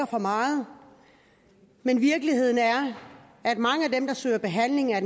for meget men virkeligheden er at mange af dem der søger behandling er